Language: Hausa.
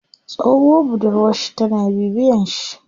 Tsohuwar budurwar shi tana bibiyen shi.